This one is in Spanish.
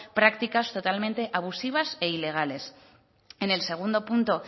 prácticas totalmente abusivas e ilegales en el segundo punto